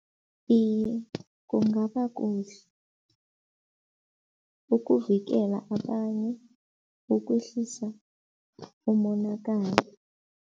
Iye, kungaba kuhle, ukuvikela abanye, ukwehlisa umonakalo.